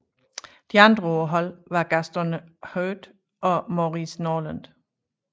De andre på holdet var Gaston Heuet og Maurice Norland